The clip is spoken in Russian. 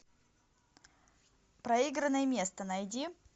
проигранное место найди